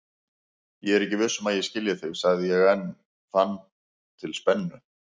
Ég er ekki viss um að ég skilji þig, sagði ég en fann til spennu.